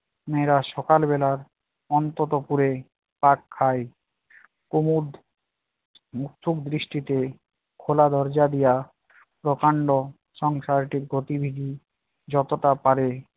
মেয়েরা সকাল বেলার অন্ততপুরে পাক খাই। কুমদ মুকথুক বৃষ্টিতে খোলা দরজা দিয়া প্রকাণ্ড সংসারটির গতিবিধি যতটা পারে